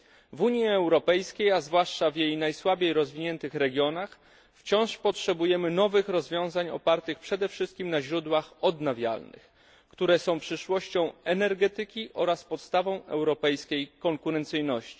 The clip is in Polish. W Unii Europejskiej, a zwłaszcza w jej najsłabiej rozwiniętych regionach, wciąż potrzebujemy nowych rozwiązań opartych przede wszystkim na źródłach odnawialnych, które są przyszłością energetyki oraz podstawą europejskiej konkurencyjności.